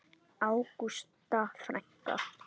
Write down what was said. Ágústa frænka.